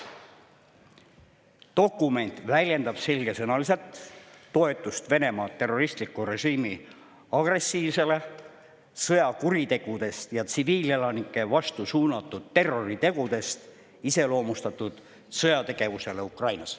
Dokument väljendab selgesõnaliselt toetust Venemaa terroristliku režiimi agressiivsele, sõjakuritegudest ja tsiviilelanike vastu suunatud terroritegudest iseloomustatud sõjategevusele Ukrainas.